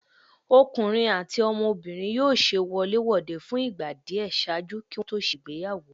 Ọkunrin ati ọmọbirin yóò ṣe wolé-wodé fun igba diẹ ṣaaju ki wọn to ṣe ìgbéyàwó.